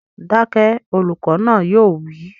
Dákẹ́! Olùkọ́ náà yóò wí